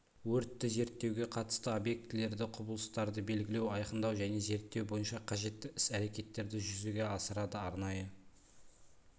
өртті зерттеуге қатысты объектілерді құбылыстарды белгілеу айқындау және зерттеу бойынша қажетті іс-әрекеттерді жүзеге асырады арнайы